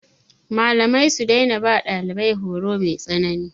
Malamai su daina ba ɗalibai horo mai tsanani.